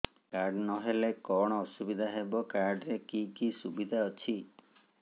card ନହେଲେ କଣ ଅସୁବିଧା ହେବ କାର୍ଡ ରେ କି କି ସୁବିଧା ଅଛି